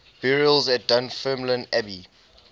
burials at dunfermline abbey